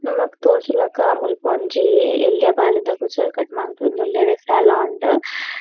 ನಮಕ್ ತೋಜುಲೆಕ ಮುಲ್ಪ ಒಂಜಿ ಎಲ್ಯ ಬಾಲೆದ ಕುಜಲ್ ಕಟ್ ಮಂತೊಂದುಲ್ಲೆರ್ ಸೆಲೂನ್ ಡ್.